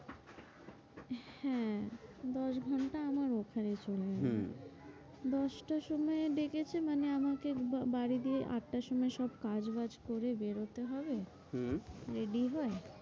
হ্যাঁ, দশ ঘন্টা আমার ওখানে চলে গেল হম দশটার সময় ডেকেছে মানে আমাকে বাড়ি দিয়ে আটটার সময় সব কাজ বাজ করে বেরোতে হবে হম ready হয়ে